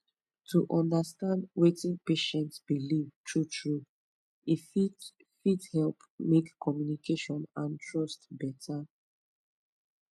to understand wetin patient believe truetrue e fit fit help make communication and trust better